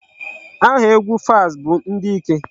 Aha egwu Falz bụ ndị ike.